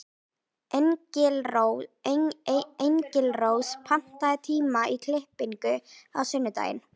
Engilrós, pantaðu tíma í klippingu á sunnudaginn.